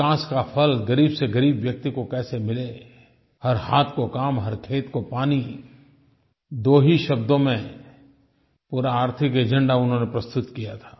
विकास का फल ग़रीब से ग़रीब व्यक्ति को कैसे मिले हर हाथ को काम हर खेत को पानी दो ही शब्दों में पूरा आर्थिक एजेंडा उन्होंनें प्रस्तुत किया था